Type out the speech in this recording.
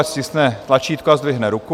Ať stiskne tlačítko s zdvihne ruku.